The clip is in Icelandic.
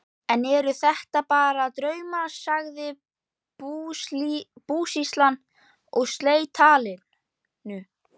Enn eru þetta bara draumar, sagði búsýslan og sleit talinu.